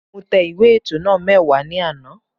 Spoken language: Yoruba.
Mo tẹ ìwé ètò náà mẹ́wàá ní àná